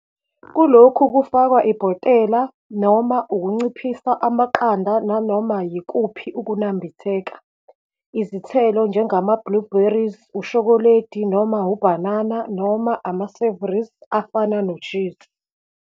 Kulokhu kufakwa ibhotela noma ukunciphisa, amaqanda nanoma yikuphi ukunambitheka, izithelo, njengama-blueberries, ushokoledi noma ubhanana, noma ama-savouries, afana noshizi.